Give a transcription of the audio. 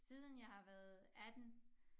Siden jeg har været 18